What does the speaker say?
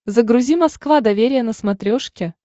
загрузи москва доверие на смотрешке